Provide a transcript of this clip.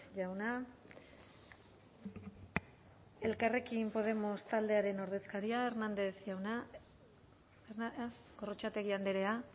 jauna elkarrekin podemos taldearen ordezkaria hernández jauna gorrotxategi andrea